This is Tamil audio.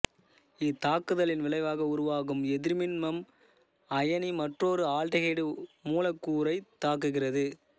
இத்தாக்குதலின் விளைவாக உருவாகும் எதிர்மின்மம்அயனி மற்றொரு ஆல்டிகைடு மூலக்கூறைத் தாக்குகிறது